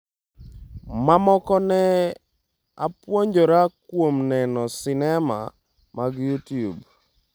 mamoko ne apuonjora kuom neno sinema mag Youtube."